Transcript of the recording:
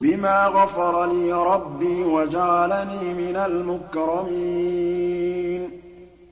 بِمَا غَفَرَ لِي رَبِّي وَجَعَلَنِي مِنَ الْمُكْرَمِينَ